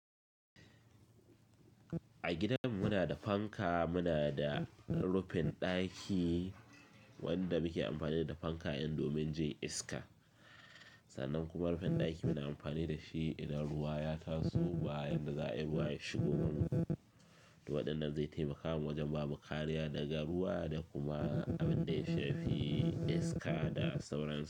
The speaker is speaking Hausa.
A gidan mu nada fanka, munada rufin ɗaki wanda muke amfani da fanka domin jin iska. Sannan kuma rufin ɗaki muna amfani dashi idan ruwa ya taso baya yadda za a yi ruwa ya shigo waje. To wadannan zai taimaka mu wajen ba mu kariya daga ruwa da kuma abin da ya shafi iska da sauransu.